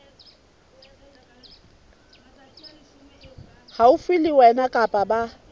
haufi le wena kapa ba